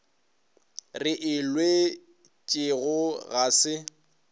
re e lwetšego ga se